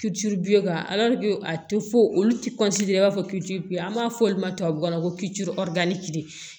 bi ka a tɛ fɔ olu ti i b'a fɔ an b'a fɔ olu ma tubabukan na ko